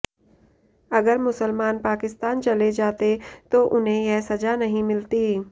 अगर मुसलमान पाकिस्तान चले जाते तो उन्हें यह सजा नहीं मिलती